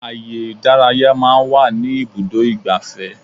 Ààyè ìdárayá máa ń wà ní ibùdó igbàfẹ́.